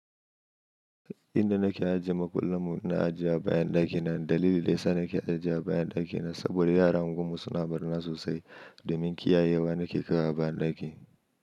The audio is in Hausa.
Inda nake ajiye makullanmu, na ajiye a bayan ɗakina. Dalilin da yasa nake ajiye a bayan ɗakina saboda yaranmu kuma suna barna sosai. Domin kiyayewa nake kaiwa a bayan ɗaki.